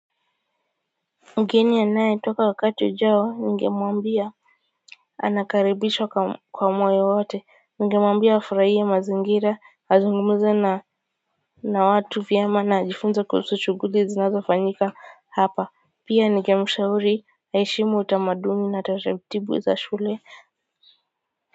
Mgeni anaye toka wakati ujao ningemuambia anakaribishwa kwa moyo wote ningemuambia afurahie mazingira azungumuze na watu vyema na ajifunze kuhusu shughuli zinazo fanyika hapa pia ningemshauri aheshimu utamaduni na taratibu za shule.